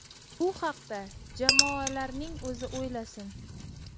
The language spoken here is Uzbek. Bu haqda jamoalarning o‘zi o‘ylasin.